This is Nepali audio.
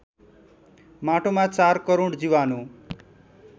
माटोमा ४ करोड जीवाणु